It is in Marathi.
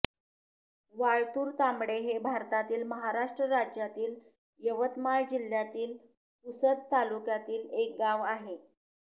वाळतुर तांबडे हे भारतातील महाराष्ट्र राज्यातील यवतमाळ जिल्ह्यातील पुसद तालुक्यातील एक गाव आहे